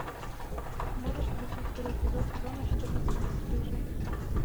можешь включить второй эпизод сезона четырнадцать бесстыжие